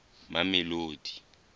mamelodi